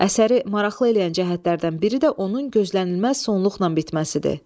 Əsəri maraqlı eləyən cəhətlərdən biri də onun gözlənilməz sonluqla bitməsidir.